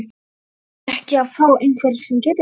Verðum við ekki að fá einhvern sem getur það?